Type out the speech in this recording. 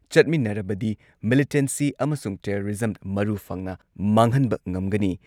ꯆꯠꯃꯤꯟꯅꯔꯕꯗꯤ militancy ꯑꯃꯁꯨꯡ terrorism ꯃꯔꯨ ꯐꯪꯅ ꯃꯥꯡꯍꯟꯕ ꯉꯝꯒꯅꯤ ꯫